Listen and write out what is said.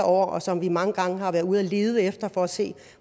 år og som vi mange gange har været ude at lede efter for at se